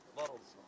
Var olsunlar.